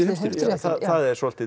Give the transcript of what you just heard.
heimsstyrjöldinni það er svolítið